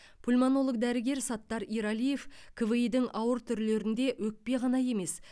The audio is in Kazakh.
пульмонолог дәрігер саттар ералиев кви дің ауыр түрлерінде өкпе ғана емес